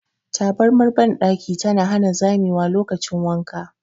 Tabarmar bandaki tana hana zamewa lokacin wanka.